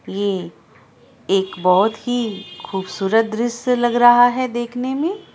ये एक एक बोहोत ही खूबसूरत द्रश्य लग रहा है देखने मे।